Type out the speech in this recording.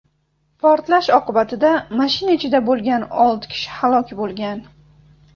Portlash oqibatida mashina ichida bo‘lgan olti kishi halok bo‘lgan.